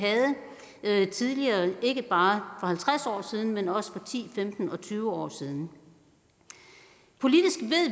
havde tidligere ikke bare for halvtreds år siden men også for ti femten og tyve år siden politisk